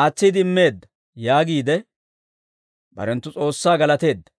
aatsiide immeedda» yaagiide barenttu s'oossaa galateeddino.